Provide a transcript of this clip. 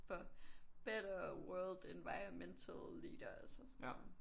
For better world environmental leaders og sådan noget